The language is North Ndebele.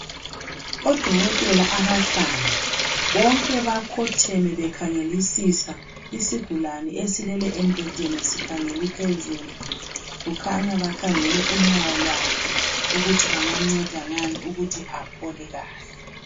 Odokotela abahlanu bonke bakhotheme bekhangele isigulane esilele embhedeni sikhangele iliphezulu kukhanya bakhangele unyawo lwakhe ukuthi bengamnceda ngani ukuthi aphole kahle